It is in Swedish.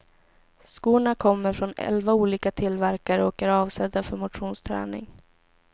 Skorna kommer från elva olika tillverkare och är avsedda för motionsträning.